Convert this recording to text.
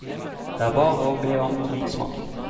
Det er bare å be om vinsmaking.